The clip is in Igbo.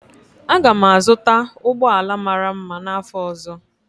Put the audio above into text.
Aga m azụta ụgbọ ala mara mma n'afọ ọzọ.